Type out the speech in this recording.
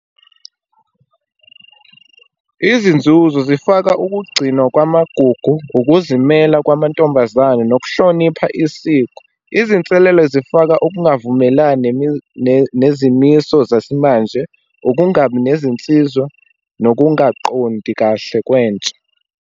Izinzuzo zifaka, ukugcinwa kwamagugu, ukuzimela kwamantombazane, nokuhlonipha isiko. Izinselelo zifaka, ukungavumelani nezimiso zesimanje, ukungabi nezinsizwa nokungaqondi kahle kwentsha.